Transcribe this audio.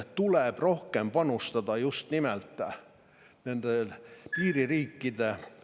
Tuleb rohkem panustada just nimelt nende piiririikide …